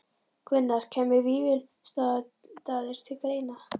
Gunnar: Kæmu Vífilsstaðir til greina?